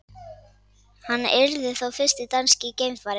Hann yrði þá fyrsti danski geimfarinn